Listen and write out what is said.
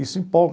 Isso empolga.